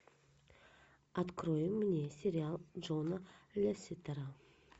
открой мне сериал джона лесетера